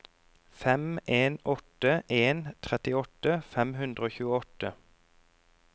fem en åtte en trettiåtte fem hundre og tjueåtte